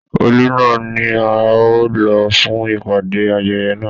Ọọlú náà ní a o ló fún ìpàdé ayẹyẹ náà.